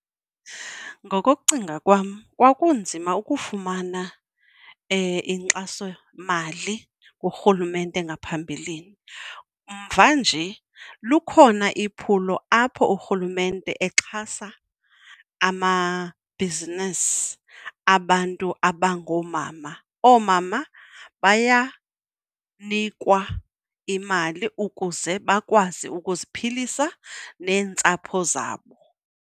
Ngokokucinga kwam kwakunzima ukufumana inkxasomali kurhulumente ngaphambilini. Mvanje lukhona iphulo apho urhulumente exhasa amabhizinisi abantu abangoomama, oomama bayanikwa imali ukuze bakwazi ukuziphilisa neentsapho zabo.